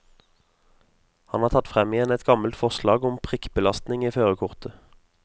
Han har tatt frem igjen et gammelt forslag om prikkbelastning i førerkortet.